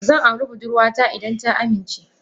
Zan aure budurwata idan ta amince.